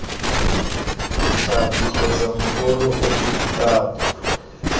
ditlhapi kgotsa mokoro ofe kapa